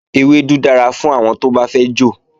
Ewédú dára fún àwọn tó bá fẹ́ jò